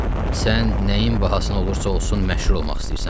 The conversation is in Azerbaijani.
Sən nəyin bahasına olursa olsun məşhur olmaq istəyirsən?